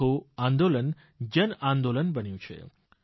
આખું આંદોલન જનઆંદોલન બન્યું છે